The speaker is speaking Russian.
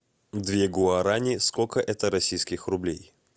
две гуарани сколько это российских рублей